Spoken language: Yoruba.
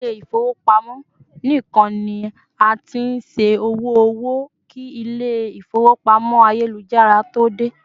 ilé ifowopamọ nikan ni a t'in ṣẹ owo owó ki ilé ifowópamọ́ ayélujára to dé